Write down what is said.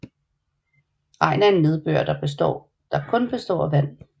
Regn er nedbør der kun består af vand